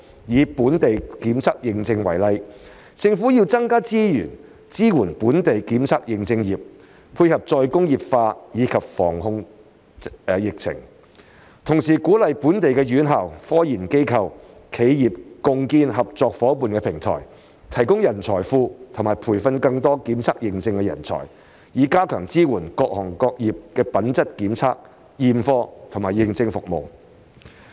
以本地檢測認證業為例，政府要增加資源支援本地檢測認證業，配合"再工業化"及防控疫情；同時鼓勵本地院校、科研機構丶企業共建合作夥伴平台，提供人才庫和培訓更多檢測認證人才，以加強支援各行業品質檢測、驗貨和認證服務。